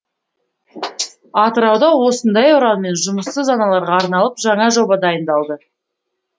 атырауда осындай ұранмен жұмыссыз аналарға арналып жаңа жоба дайындалды